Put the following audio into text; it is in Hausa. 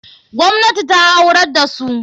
Gwamnati ta aurar da su.